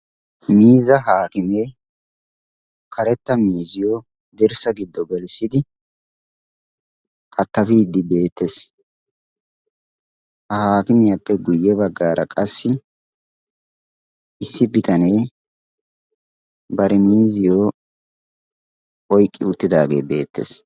miizzaa haakimee karetta miizziyo dirssaa giddo gelissidi kattafiiddi beettees. ha haakimiyaappe guyye baggaara qassi issi bitanee bari miizziyo oyqqi uttidaagee beettees.